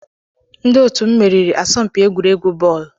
Ndị otu m meriri asọmpi egwuregwu bọọlụ.